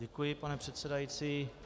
Děkuji, pane předsedající.